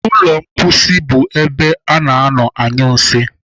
Ụlọ mposi bụ ebe a na-anọ anyụ nsị.